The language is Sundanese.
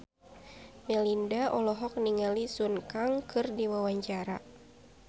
Melinda olohok ningali Sun Kang keur diwawancara